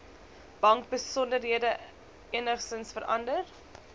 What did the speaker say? bankbesonderhede enigsins verander